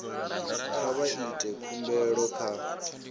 kha vha ite khumbelo kha